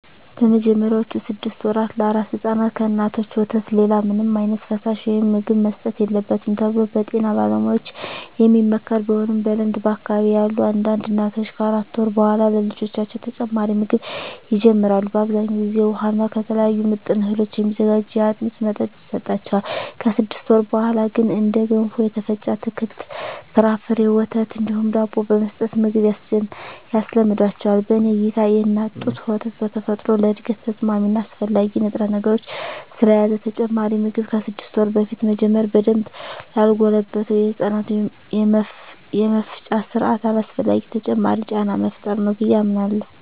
በመጀመሪያዎቹ ስድስት ወራ ለአራስ ሕፃናት ከእናቶች ወተት ሌላ ምንም ዓይነት ፈሳሽ ወይም ምግብ መሰጠት የለበትም ተብሎ በጤና ባለሙያዎች የሚመከር ቢሆንም በልምድ በአካባቢየ ያሉ አንዳንድ እናቶች ከአራት ወር በኃላ ለልጆቻቸው ተጨማሪ ምግብ ይጀምራሉ። በአብዛኛው ጊዜ ውሃ እና ከተለያዩ ምጥን እህሎች የሚዘጋጅ የአጥሚት መጠጥ ይሰጣቸዋል። ከስድስት ወር በኀላ ግን እንደ ገንፎ፣ የተፈጨ አትክልት እና ፍራፍሬ፣ ወተት እንዲሁም ዳቦ በመስጠት ምግብ ያስለምዷቸዋል። በኔ እይታ የእናት ጡት ወተት በተፈጥሮ ለእድገት ተስማሚ እና አስፈላጊ ንጥረነገሮችን ስለያዘ ተጨማሪ ምግብ ከስድስት ወር በፊት መጀመር በደንብ ላልጎለበተው የህፃናቱ የመፍጫ ስርአት አላስፈላጊ ተጨማሪ ጫና መፍጠር ነው ብየ አምናለሁ።